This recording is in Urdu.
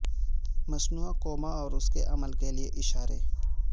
مصنوعی کوما اور اس کے عمل کے لئے اشارے